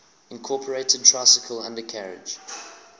incorporated tricycle undercarriage